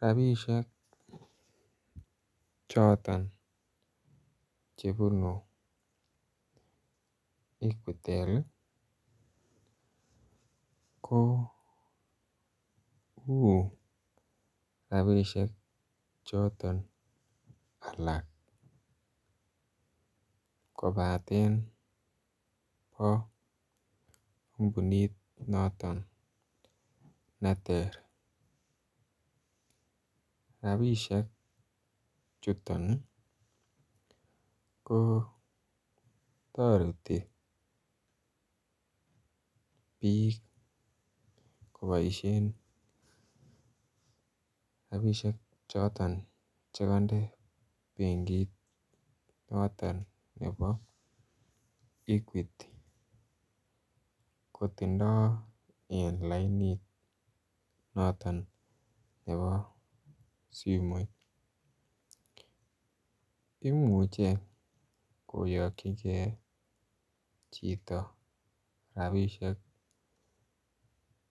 Rabishek choto ln chebunu equitel ko u rabishek choton alak kobatan bo kompunit noton neter. Rabishek chuton ko toreti bik koboishen rabishek choton chekoinde benkit noton nebo equity kotindo en lainit noton nebo simoit, imuche koyokigee chito rabishek